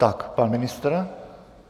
Tak, pan ministr.